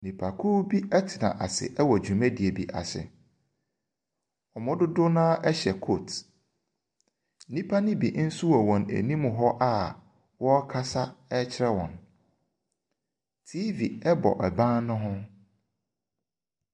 Nipakow bi ɛtena asi ɛwɔ dwumadie bi asi, ɔmmu dodow naa ɛhyɛ kot. Nipa ne bi nso wɔn anim hɔ a wɔ kasa kyerɛ wɔn. Tiifi ɛbɔ ɛban ne ho.